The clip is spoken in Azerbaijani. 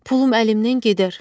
Pulun əlimdən gedər.